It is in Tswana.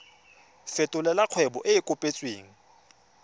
fetolela kgwebo e e kopetswengcc